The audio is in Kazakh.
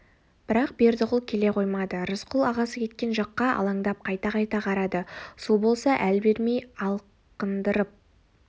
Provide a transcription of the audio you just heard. бірақ бердіқұл келе қоймады рысқұл ағасы кеткен жаққа алаңдап қайта-қайта қарады су болса әл бермей алқындырып